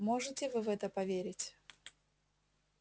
можете вы в это поверить